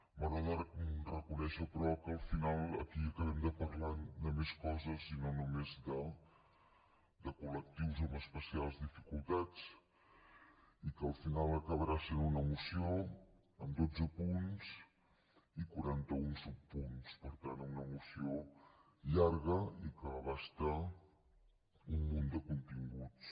m’haurà de reconèixer però que al final aquí acabem parlant de més coses i no només de col·lectius amb especials dificultats i que al final acabarà sent una moció amb dotze punts i quaranta un subpunts per tant una moció llarga i que abasta un munt de continguts